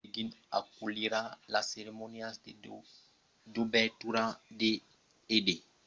pequin aculhirà las ceremonias de dobertura e de barrament e las competicions sus glaç interioras